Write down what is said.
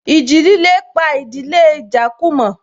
Ìjì líle pa ìdílé Ijakumo